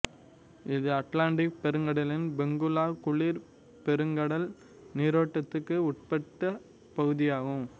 இது அட்லாண்டிக் பெருங்கடலின் பெங்குலா குளிர் பெருங்கடல் நீரோட்டத்துக்கு உட்பட்ட பகுதியாகும்